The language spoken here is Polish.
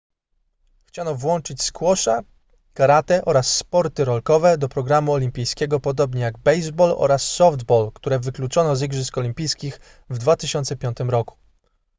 chciano włączyć squasha karate oraz sporty rolkowe do programu olimpijskiego podobnie jak baseball oraz softball które wykluczono z igrzysk olimpijskich w 2005 roku